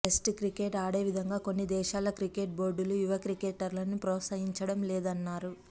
test cricket ఆడేవిధంగా కొన్ని దేశాల క్రికెట్ బోర్డులు యువ క్రికెటర్లను ప్రోత్సహించడం లేదన్నారు